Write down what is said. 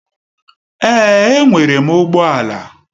Èè, e nwere m ụgbọ ala.